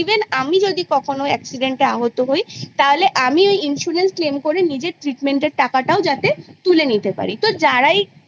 আমি যদি কখনও accident এ আহত হই তাহলে আমি ওই insurance claim করে নিজের treatment এর টাকাটাও যাতে তুলে নিতে পারি। যারাই